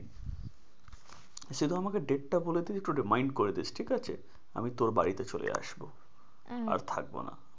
সে তো আমাকে date তা বলে দিস একটু remind করে দিস ঠিক আছে? আমি তোর বাড়িতে চলে আসবো আহ আর থাকবো না।